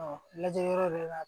lajɛ yɔrɔ bɛɛ la